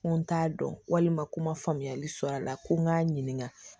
Ko n t'a dɔn walima ko n ma faamuyali sɔrɔ a la ko n k'a ɲininka